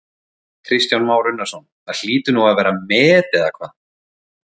Kristján Már Unnarsson: Það hlýtur nú að vera met eða hvað?